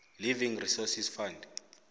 living resources fund